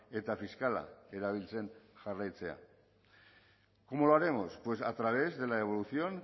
eta fiskala erabiltzen jarraitzea cómo lo haremos pues a través de la evolución